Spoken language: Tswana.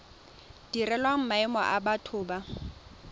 direlwang maemo a batho ba